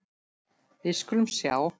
Við skulum sjá.